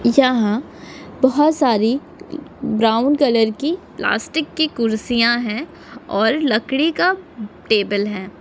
यहा बहुत सारी ब्राउन कलर की प्लास्टिक की कुर्सिया है और लकड़ी का अह टेबल है।